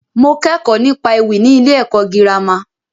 Mo kẹ́kọ̀ọ́ nípa ewì ní ilé ẹ̀kọ́ girama.